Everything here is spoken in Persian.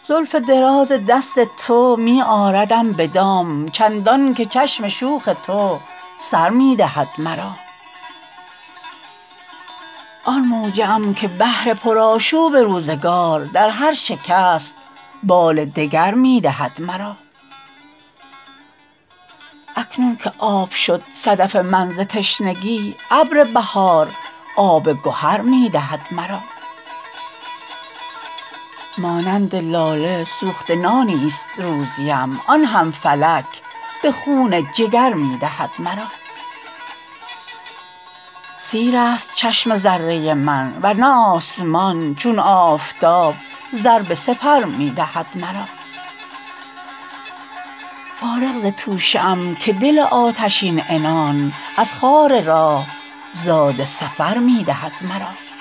زلف دراز دست تو می آردم به دام چندان که چشم شوخ تو سر می دهد مرا آن موجه ام که بحر پر آشوب روزگار در هر شکست بال دگر می دهد مرا اکنون که آب شد صدف من ز تشنگی ابر بهار آب گهر می دهد مرا مانند لاله سوخته نانی است روزیم آن هم فلک به خون جگر می دهد مرا سیرست چشم ذره من ورنه آسمان چون آفتاب زر به سپر می دهد مرا فارغ ز توشه ام که دل آتشین عنان از خار راه زاد سفر می دهد مرا